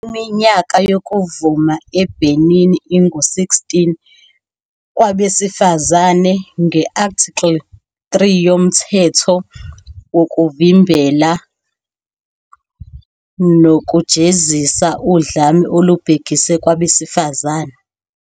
Iminyaka yokuvuma eBenin ingu- 16 kwabesifazane, nge-Article 3 yoMthetho Wokuvimbela Nokujezisa Udlame Olubhekiswe Kwabesifazane.